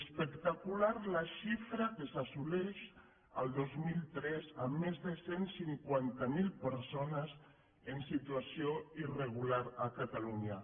espectacular la xifra que s’asso·leix el dos mil tres amb més de cent cinquanta mil persones en situació irregular a catalunya